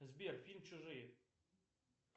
сбер фильм чужие